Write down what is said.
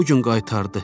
Bu gün qaytardı.